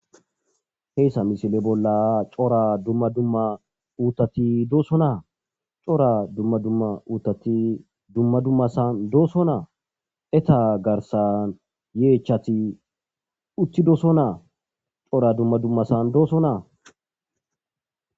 heyssa misile bolla cora dumma dumma uutati dooso naa cora dumma dumma uutati dumma dummasan dooso naa eta garsan yeechati utti dooson naa cora dumma dummasan dooso naa